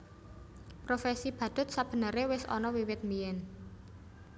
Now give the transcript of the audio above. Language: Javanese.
Profesi badhut sabenere wis ana wiwit biyén